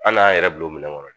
An din'an yɛrɛ bil'o minɛ kɔnɔ de